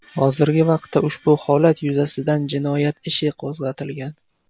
Hozirgi vaqtda ushbu holat yuzasidan jinoyat ishi qo‘zg‘atilgan.